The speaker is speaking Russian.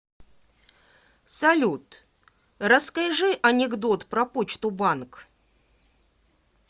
салют расскажи анекдот про почту банк